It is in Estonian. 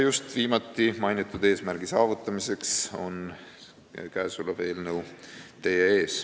Just viimati mainitud eesmärgi saavutamiseks on teie ette toodud käesolev eelnõu.